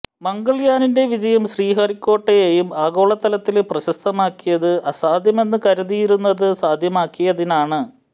മംഗള്യാന്റെ വിജയം ശ്രീഹരിക്കോട്ടയെയും ആഗോളതലത്തില് പ്രശസ്തമാക്കിയത് അസാധ്യമെന്ന് കരുതിയിരുന്നത് സാധ്യമാക്കിയതിനാണ്